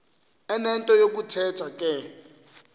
enento yokuthetha ke